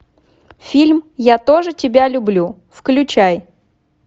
фильм я тоже тебя люблю включай